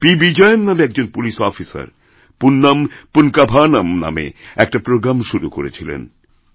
পিবিজয়ন নামে একজন police officer Punyam Poonkavanam নামে একটা প্রোগ্রাম শুরুকরেছিলেন